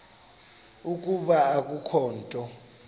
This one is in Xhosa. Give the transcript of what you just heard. ukuba kukho into